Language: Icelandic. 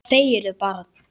Hvað segirðu barn?